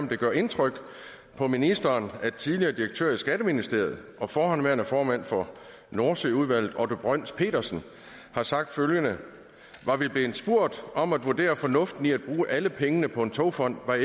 om det gør indtryk på ministeren at tidligere direktør i skatteministeriet og forhenværende formand for nordsøudvalget otto brøns petersen har sagt følgende var vi blevet spurgt om at vurdere fornuften i at bruge alle pengene på en togfond er